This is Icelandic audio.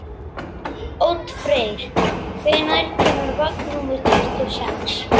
Oddfreyr, hvenær kemur vagn númer tuttugu og sex?